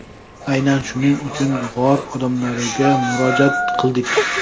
Aynan shuning uchun g‘or odamlariga murojaat qildik.